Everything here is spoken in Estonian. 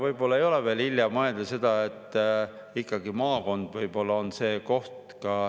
Võib-olla ei ole veel hilja mõelda sellele, et ikkagi maakond on see koht.